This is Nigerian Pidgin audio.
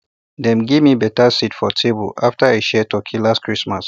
dem give me betta seat for table after i share turkey last christmas